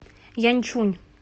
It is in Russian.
янчунь